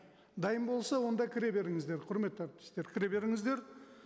дайын болса онда кіре беріңіздер құрметті әріптестер кіре беріңіздер